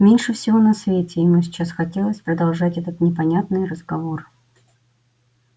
меньше всего на свете ему сейчас хотелось продолжать этот непонятный разговор